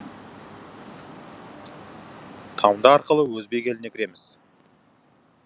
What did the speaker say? тамды арқылы өзбек еліне кіреміз